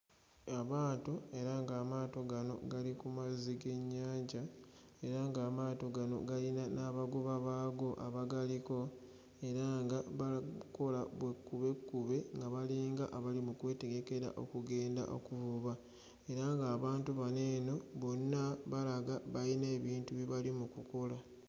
Amaato era ng'amaato gano gali ku mazzi g'ennyanja. Era ng'amaato gano galina n'abagoba baago abagaliko era nga bali mu kukola bukkubekkube nga balinga abali mu kwetegekera okugenda okuvuba. Era ng'abantu bano eno bonna balaga balina ebintu bye bali mu kukola.